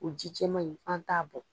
O ji jɛman ma ɲi an t'a bɔn.